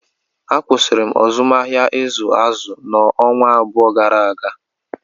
A kwụsịrị m azụmahịa ịzụ azụ m ọnwa abụọ gara aga